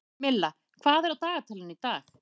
Milla, hvað er á dagatalinu í dag?